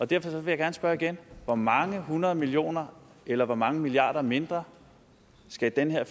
derfor vil jeg gerne spørge igen hvor mange hundrede millioner eller hvor mange milliarder mindre skulle den her